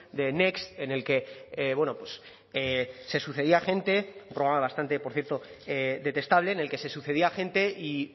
de next en el que bueno se sucedía gente un programa bastante por cierto detestable en el que se sucedía gente y